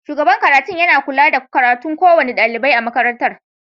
Shugaban karatun yana kula da karatun kowane dalibi a makarantar.